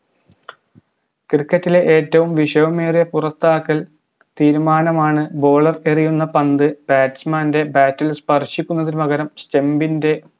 cricket ലെ വിഷമമേറിയ പുറത്താക്കൽ തീരുമാനമാണ് bowler എറിയുന്ന പന്ത് batsman ൻറെ bat ഇൽ സ്പർശിക്കുന്നതിനു പകരം stump ൻറെ